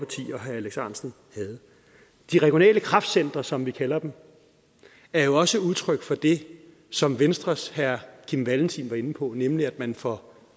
herre alex ahrendtsen havde de regionale kraftcentre som vi kalder dem er jo også udtryk for det som venstres herre kim valentin var inde på nemlig at man får